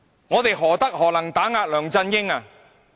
我們何德何能可以打壓梁振英？